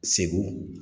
Segu